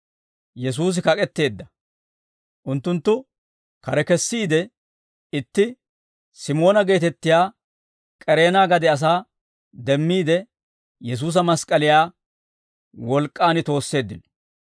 Unttunttu kare kesiide, itti Simoona geetettiyaa K'ereena gade asaa demmiide, Yesuusa mask'k'aliyaa wolk'k'aan toosseeddino.